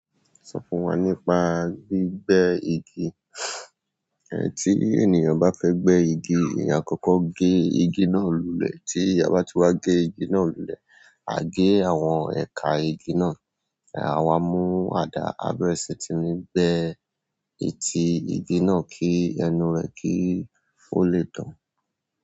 Sọ fún wa nípa gbígbẹ́ igi. Ẹ̀ tí ènìyàn bá fẹ́ gbé igi, èyàn á kọ́kọ́ gé igi náà lulẹ̀. Tí a bá ti wá gé igi náà lulẹ̀, a gé àwọn ẹ̀ka igi náà. A wá mú àdá abẹ́rẹ́ sí tí ní gbẹ ẹ̀tí igi náà kí ẹnu rẹ̀ kì í o lè dàn.